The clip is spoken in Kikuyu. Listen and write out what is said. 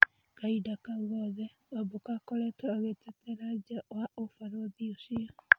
Kahinda kau gothe Wambũkũakoretwo agĩeterera nja wa ũbarũthi ũcio.